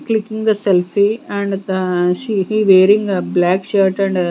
clicking the selfie and the she wearing ah black shirt and--